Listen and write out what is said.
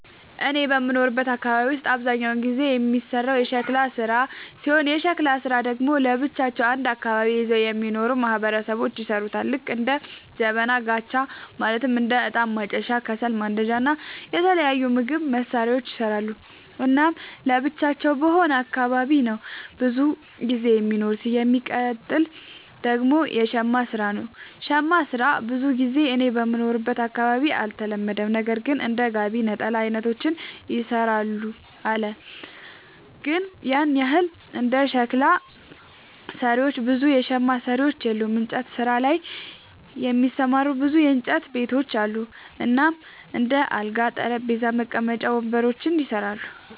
እኔ በምኖርበት አካባቢ ውስጥ አብዛኛውን ጊዜ የሚሰራው የሸክላ ስራ ሲሆን የሸክላ ስራ ደግሞ ለብቻቸው አንድ አካባቢን ይዘው የሚኖሩ ማህበረሰቦች ይሠሩታል ልክ እንደ ጀበና፣ ጋቻ ማለትም እንደ እጣን ማጨሻ፣ ከሰል ማንዳጃ እና የተለያዩ ምግብ መስሪያዎችን ይሰራሉ። እናም ለብቻቸው በሆነ አካባቢ ነው ብዙም ጊዜ የሚኖሩት። የሚቀጥል ደግሞ የሸማ ስራ ነው, ሸማ ስራ ብዙ ጊዜ እኔ በምኖርበት አካባቢ አልተለመደም ነገር ግን እንደ ጋቢ፣ ነጠላ አይነቶችን ይሰራሉ አለ ግን ያን ያህል እንደ ሸክላ ሰሪዎች ብዙ የሸማ ሰሪዎች የሉም። እንጨት ስራ ላይ የተሰማሩ ብዙ የእንጨት ቤቶች አሉ እናም እንደ አልጋ፣ ጠረጴዛ፣ መቀመጫ ወንበሮችን ይሰራሉ።